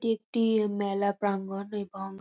একটি মেলা প্রাঙ্গণ। এবং --